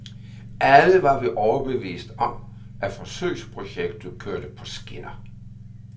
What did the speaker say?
Alle var vi overbeviste om, at forsøgsprojektet kørte på skinner.